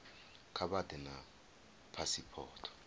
kha vha ḓe na phasipoto